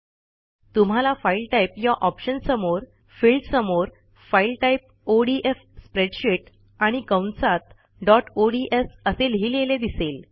तुम्हाला file type या ऑप्शनसमोरफिल्ड समोर फाईल टाईप ओडीएफ स्प्रेडशीट आणि कंसात डॉट ओडीएस असे लिहिलेले दिसेल